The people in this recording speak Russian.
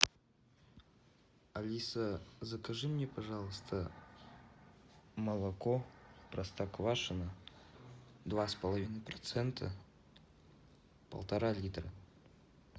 алиса закажи мне пожалуйста молоко простоквашино два с половиной процента полтора литра